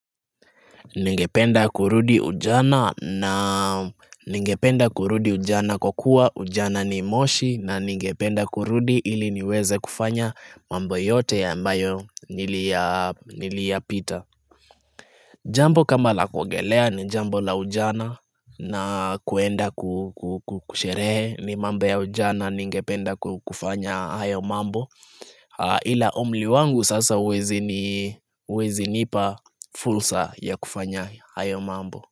Ningependa kurudi ujana na ningependa kurudi ujana kwa kuwa ujana ni moshi na ningependa kurudi ili niweze kufanya mambo yote ya ambayo niliyapita Jambo kama la kuogelea ni jambo la ujana na kuenda kusherehe ni mambo ya ujana ningependa kufanya hayo mambo Ila umli wangu sasa huwezi nipa fulsa ya kufanya hayo mambo.